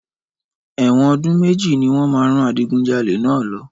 Ẹ̀wọ̀n ọdún méjì ní wọ́n máa rán adigunjalè náà lọ.